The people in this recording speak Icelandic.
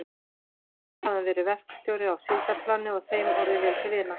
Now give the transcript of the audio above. Þar hafði hann verið verkstjóri á síldarplani og þeim orðið vel til vina.